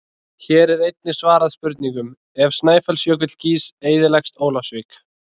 Hér er einnig svarað spurningunum: Ef Snæfellsjökull gýs eyðileggst Ólafsvík?